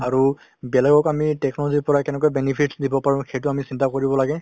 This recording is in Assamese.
আৰু বেলেগক আমি technology ৰ পৰা কেনেকৈ benefit দিব পাৰোঁ সেইটো আমি চিন্তা কৰিব লাগে ।